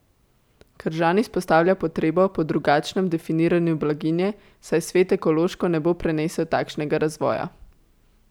Kržan izpostavlja potrebo po drugačnem definiranju blaginje, saj svet ekološko ne bo prenesel takšnega razvoja.